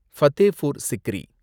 Fatehpur Sikri